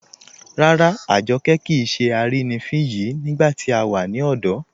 Ràrà, Àjọ́kẹ kíì ṣè àrínifín yìí nígbà tí a wà ní ọ̀dọ̀